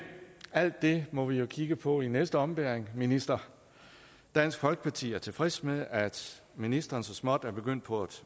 alt det må vi jo kigge på i næste ombæring minister dansk folkeparti er tilfreds med at ministeren så småt er begyndt på at